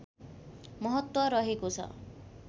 महत्त्व रहेको छ